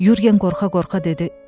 Yorqen qorxa-qorxa dedi: